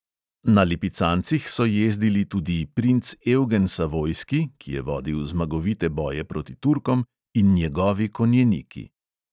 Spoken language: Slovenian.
Na lipicancih so jezdili tudi princ evgen savojski, ki je vodil zmagovite boje proti turkom, in njegovi konjeniki.